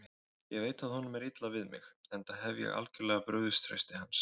Ég veit að honum er illa við mig, enda hef ég algjörlega brugðist trausti hans.